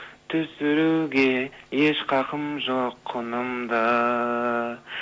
түсіруге еш хақым жоқ құныңды